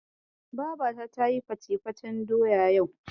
Babata tayi fatefaten doya yau.